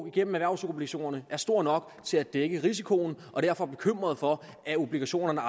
igennem erhvervsobligationerne er stor nok til at dække risikoen og derfor bekymret for at obligationerne